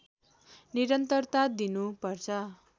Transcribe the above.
निरन्तरता दिनु पर्छ